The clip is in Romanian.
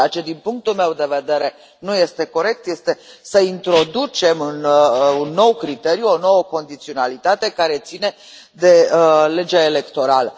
Ceea ce, din punctul meu de vedere, nu este corect, este să introducem un nou criteriu, o nouă condiționalitate, care ține de legea electorală.